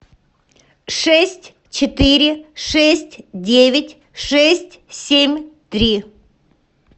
шесть четыре шесть девять шесть семь три